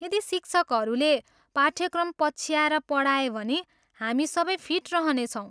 यदि शिक्षकहरूले पाठ्यक्रम पछ्याएर पढाए भने हामी सबै फिट रहने छौँ।